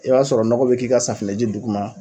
I b'a sɔrɔ nɔgɔ bi k'i ka safinɛji duguma